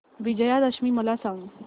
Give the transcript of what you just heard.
विजयादशमी मला सांग